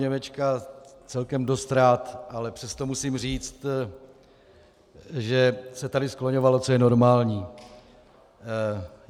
Němečka celkem dost rád, ale přesto musím říct, že se tady skloňovalo, co je normální.